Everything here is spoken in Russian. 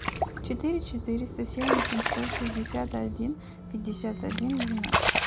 четыре четыреста семь восемьсот шестьдесят один пятьдесят один двенадцать